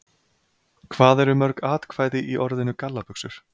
Hvað eru mörg atkvæði í orðinu gallabuxur?